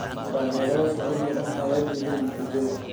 Taageerayaasha ODM ayaa diiday natiijada.